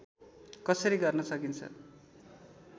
कसरी गर्न सकिन्छ